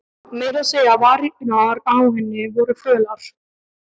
Meira að segja varirnar á henni voru fölar.